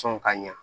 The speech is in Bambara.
Sɔn ka ɲa